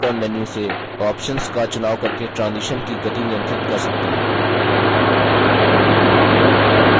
आप speed dropdown menu से options का चुनाव करके transition की गति नियंत्रित कर सकते हैं